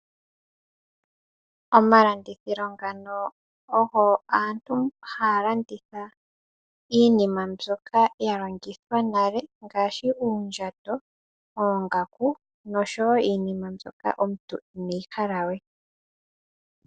Omalandithilo ngano ogo aantu haya landitha iinima mbyoka ya longithwa nale ngaashi uundjato, oongaku, noshowo iinima mbyoka omuntu ineyi hala we.